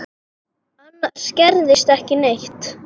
Annars gerðist ekki neitt.